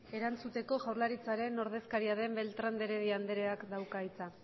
erantzuteko jaurlaritzaren ordezkaria den beltrán de heredia andreak dauka hitza